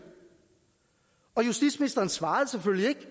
og justitsministeren svarede selvfølgelig ikke